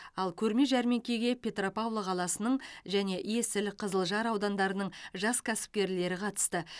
ал көрме жәрмеңкеге петропавл қаласының және есіл қызылжар аудандарының жас кәсіпкерлері қатысты